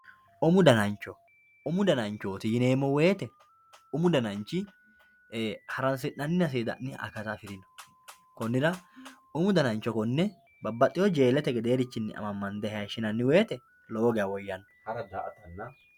Umu danancho umu dananchoti yineemowoyite umu dananchi haransinanina seedisinani akata afirino konira umu danancho kone bbabaxewo jeelete gederichini amamande hashinani woyite lowo geya woyanno